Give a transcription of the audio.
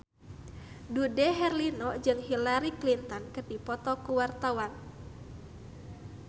Dude Herlino jeung Hillary Clinton keur dipoto ku wartawan